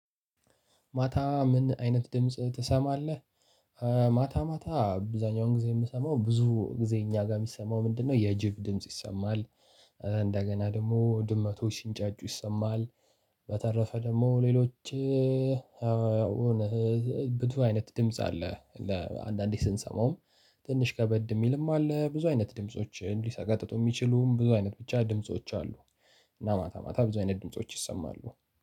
ማታ ምን አይነት ድምጽ ትሰማለህ? ማታ ማታ ብዙኛውን ጊዜ የምሰማው ብዙ ጊዜ እኛ ጋር የሚሰማው ምንድነው የጅብ ድምጽ ይሰማል። እንደገና ደግሞ ድመቶች ሱንጫጩ ይሰማል። በተረፈ ደግሞ ሌሎች አሁን ብቱ አይነት ድምጽ አለ ለአንዳንዴ ስንሰማውም ትንሽ ከበድ የሚልም አለ። ብዙ አይነት ድምፆችን ሊሰቀጥጡ የሚችሉም ብዙ አይነት ብቻ ድምጾች አሉ። እና ማታ ማታ ብዙ አይነት ድምጾች ይሰማሉ